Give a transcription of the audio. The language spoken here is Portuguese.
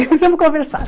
E fomos conversar.